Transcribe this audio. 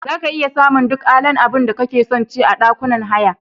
Zaka iya samun duk alan abunda kake sonci a ɗakunan haya.